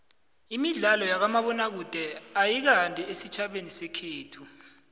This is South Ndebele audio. imidlalo yakamabona kude ayikandi esitjhabeni sekhethu